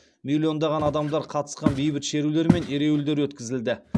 миллиондаған адамдар қатысқан бейбіт шерулер мен ереуілдер өткізілді